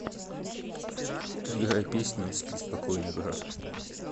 играй песню спи спокойно брат